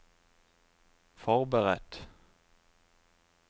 forberedt